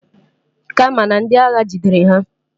Kama na ndi agha jidere ha.